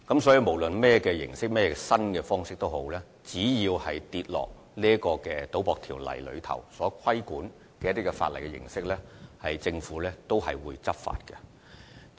所以，無論以甚麼形式或方式進行的活動，只要在《賭博條例》的規管範圍內，政府都會採取執法行動。